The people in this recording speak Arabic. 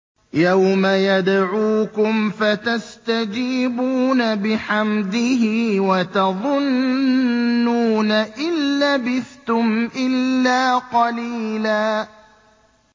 يَوْمَ يَدْعُوكُمْ فَتَسْتَجِيبُونَ بِحَمْدِهِ وَتَظُنُّونَ إِن لَّبِثْتُمْ إِلَّا قَلِيلًا